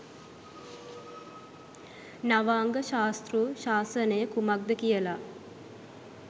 නවාංග ශාස්තෘ ශාසනය කුමක්ද කියලා